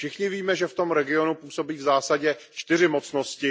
Všichni víme, že v tom region působí v zásadě 4 mocnosti.